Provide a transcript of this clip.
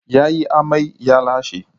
Ya yi amai, ya lashe.